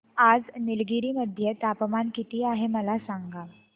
आज निलगिरी मध्ये तापमान किती आहे मला सांगा